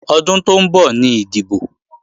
Ọdún tó ń bọ̀ ni ìdìbò